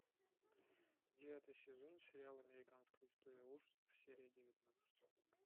девятый сезон сериал американская история ужасов серия девятнадцать